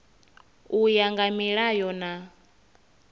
u ya nga milayo na